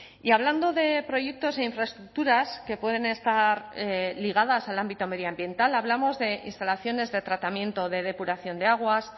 y hablando de proyectos e infraestructuras que pueden estar ligadas al ámbito medioambiental hablamos de instalaciones de tratamiento de depuración de aguas